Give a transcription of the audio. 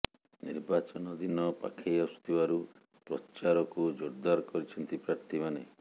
ନିର୍ବାଚନ ଦିନ ପାଖେଇ ଆସୁଥିବାରୁ ପ୍ରଚାରକୁ ଜେରଦାର କରିଛନ୍ତି ପ୍ରାର୍ଥୀମାନେ